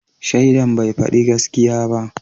Shaidan bai fadi gaskiya ba